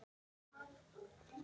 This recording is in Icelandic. Þess vegna kýs ég Guðna.